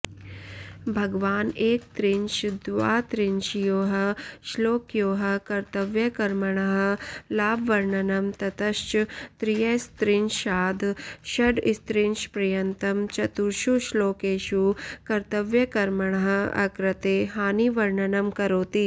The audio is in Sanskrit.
भगवान् एकत्रिंशद्वात्रिंशयोः श्लोकयोः कर्तव्यकर्मणः लाभवर्णनं ततश्च त्रयस्त्रिंशाद् षड्त्रिंशपर्यन्तं चतुर्षु श्लोकेषु कर्तव्यकर्मणः अकृते हानिवर्णनं करोति